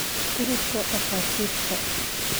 Ururka dhakhaatiirta